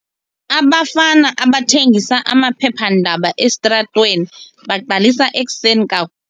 Abafana abathengisa amaphephandaba esitratweni baqalisa ekuseni ka.